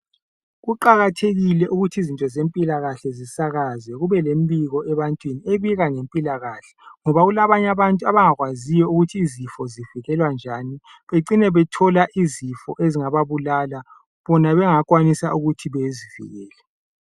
Kuqakathekile ukuthi izinto zempilakahle zisakazwe kube lembiko ebantwini ebika ngempilakahle ngoba kulabanye abantu abangakwaziyo ukuthi izifo zivikelwa njani becine bethola izifo ezingababulala bona bengakwanisa ukuthi bezivikele.